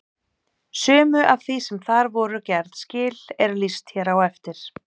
Sumu af því sem þar voru gerð skil er lýst hér á eftir.